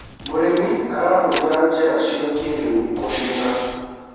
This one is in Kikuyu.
mũrĩmi arahutira njira cia kĩiriu kũrĩmira